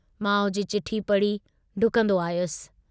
माउ जी चिठ्ठी पढ़ी ढुकन्दो आयुस।